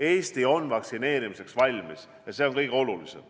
Eesti on vaktsineerimiseks valmis ja see on kõige olulisem.